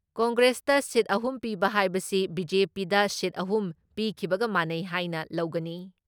ꯀꯪꯒ꯭ꯔꯦꯁꯇ seat ꯑꯍꯨꯝ ꯄꯤꯕ ꯍꯥꯏꯕꯁꯤ ꯕꯤ.ꯖꯦ.ꯄꯤꯗ ꯁꯤꯠ ꯑꯍꯨꯝ ꯄꯤꯈꯤꯕꯒ ꯃꯥꯟꯅꯩ ꯍꯥꯏꯅ ꯂꯧꯒꯅꯤ ꯫